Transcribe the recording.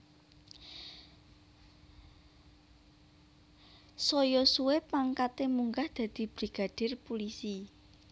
Saya suwe pangkaté munggah dadi Brigadir Pulisi